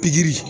Pikiri